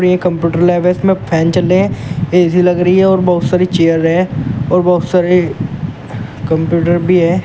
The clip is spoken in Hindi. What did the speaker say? एक कंप्यूटर लैब है इसमें फैन चल रहे है ए_सी लग रही है और बहुत सारी चेयर है और बहुत सारे कंप्यूटर भी हैं।